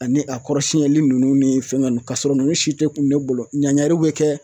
Ani a kɔrɔ siyɛnni ninnu ni fɛn ninnu ka sɔrɔ ninnu si tɛ kun ne bolo ɲangaro bɛ kɛ